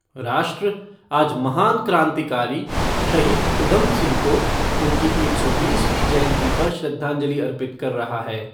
राष्ट्र आज महान क्रांतिकारी शहीद उधम सिंह को उनकी एक सौ बीसवीं जयंती पर श्रद्वाजंलि अर्पित कर रहा है।